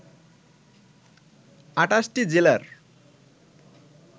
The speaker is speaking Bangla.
২৮টি জেলার